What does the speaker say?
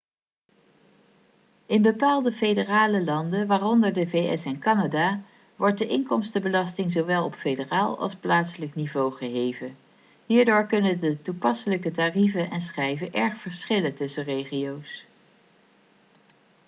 in bepaalde federale landen waaronder de vs en canada wordt de inkomstenbelasting zowel op federaal als plaatselijk niveau geheven hierdoor kunnen de toepasselijke tarieven en schijven erg verschillen tussen regio's